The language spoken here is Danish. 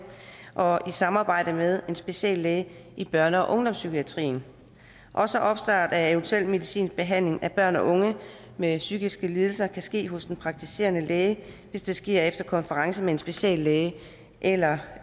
og i samarbejde med en speciallæge i børne og ungdomspsykiatrien også opstart af eventuel medicinsk behandling af børn og unge med psykiske lidelser kan ske hos den praktiserende læge hvis det sker efter konference med en speciallæge eller